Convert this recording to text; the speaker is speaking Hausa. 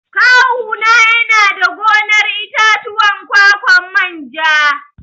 Kawu na yana da gonar itatuwan ƙwaƙwan manja.